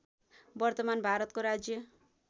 वर्तमान भारतको राज्य